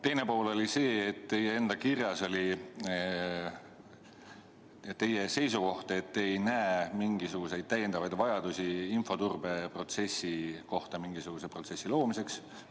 Teine pool oli see, et teie enda kirjas oli teie seisukoht, et te ei näe mingisugust vajadust infoturbe kohta mingisuguse protsessi loomiseks.